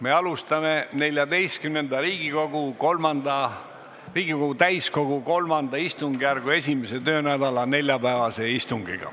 Me alustame XIV Riigikogu III istungjärgu 1. töönädala neljapäevast istungit.